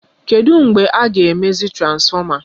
Kedụ mgbe a ga-emezi transfọma?